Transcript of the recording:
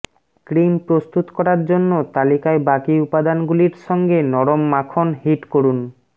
cream প্রস্তুত করার জন্য তালিকায় বাকি উপাদানগুলির সঙ্গে নরম মাখন হিট করুন